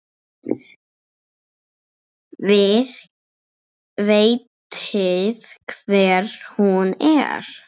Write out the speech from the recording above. Þið vitið hver hún er!